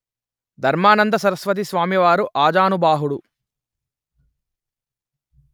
ధర్మానంద సరస్వతి స్వామి వారు ఆజానుబాహుడు